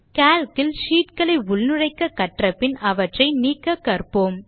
Calc இல் sheet களை உள்நுழைக்க கற்றபின் அவற்றை நீக்க கற்போம்